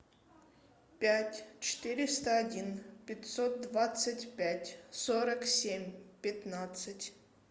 пять четыреста один пятьсот двадцать пять сорок семь пятнадцать